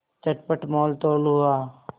चटपट मोलतोल हुआ